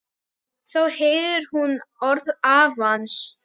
Þá heyrir hún orð afans.